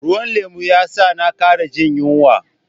Ruwan lemu ya sa na kara jin yunwa.